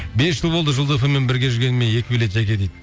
бес жыл болды жұлдыз эф эм мен бірге жүргеніме екі билет жәке дейді